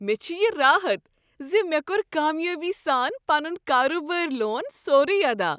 مےٚ چھُ یہ راحت ز مےٚ کوٚر کامیٲبی سان پنُن کاربٲرۍ لون سورُے ادا۔